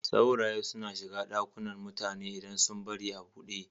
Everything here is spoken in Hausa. Sauraye suna shiga ɗakunan mutane idan sun bari a buɗe.